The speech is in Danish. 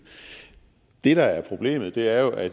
det der er problemet er jo at